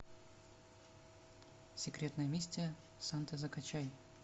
секретная миссия санты закачай